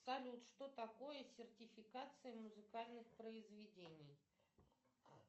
салют что такое сертификация музыкальных произведений